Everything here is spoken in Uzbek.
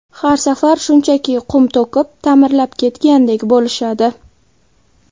Har safar shunchaki qum to‘kib, ta’mirlab ketgandek bo‘lishadi.